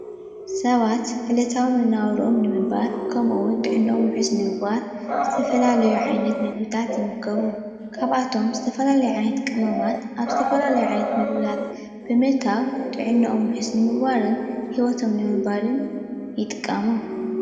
ሰባት ዕለታዊ ንመነባብርኦም ንምንባር ከምኡ እዉን ጥዕንኦም ዉሑስ ንምግባር ዝተፈላለዩ ዓይነት ምግብታት ይምገቡ ካብኣቶም ዝተፈላለዩ ዓይነታት ቅመማት ኣብ ዝተፈላለዩ ዓይነት ምግብታት ብምእታዉ ጥዕንኦም ዉሑስ ንምግባርን ሂወቶም ንምንባርን ይጥቀሙ።